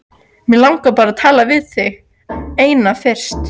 Mig langar bara til að tala við þig eina fyrst.